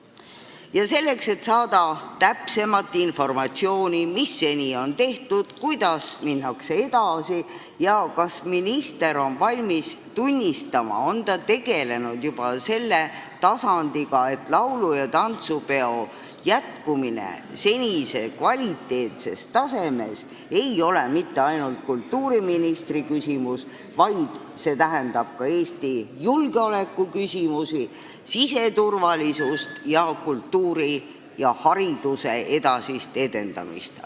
Arupärimine on mõeldud selleks, et saada täpsemat informatsiooni, mis seni on tehtud, kuidas minnakse edasi ja kas minister on tegelenud juba selle tasandiga, et saaks tunnistada, et laulu- ja tantsupeo traditsiooni jätkumine senisel kvaliteetsel tasemel ei ole mitte ainult kultuuriministri asi, vaid see tähendab ka Eesti julgeolekuküsimuste, siseturvalisuse ning kultuuri ja hariduse edasist edendamist.